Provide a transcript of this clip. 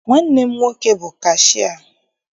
Nwanne m nwoke bụ kashịa.